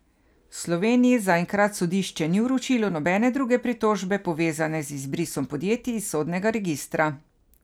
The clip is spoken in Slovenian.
Sloveniji zaenkrat sodišče ni vročilo nobene druge pritožbe, povezane z izbrisom podjetij iz sodnega registra.